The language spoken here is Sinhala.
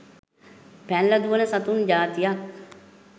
පැනල දුවන සතුන් ජාතියක්.